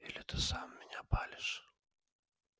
или ты сам меня палишь